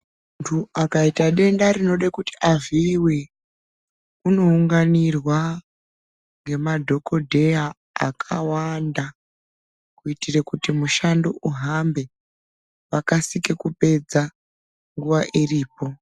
Muntu akaita denda tinoda kuti avhiiwe unounganirwa nemadhokhodheya akawanda kuitira kuti mushando uhambe vakasike kupedza nguwa iripo.